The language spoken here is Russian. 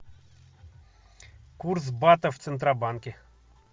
курс бата в центробанке